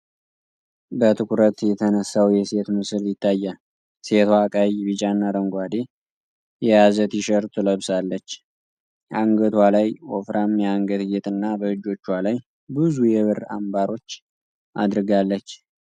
በትኩረት የተነሳው የሴት ምስል ይታያል። ሴቷ ቀይ፣ ቢጫና አረንጓዴ የያዘ ቲሸርት ለብሳለች። አንገቷ ላይ ወፍራም የአንገት ጌጥና በእጆቿ ላይ ብዙ የብር አምባሮች አድርጋለች።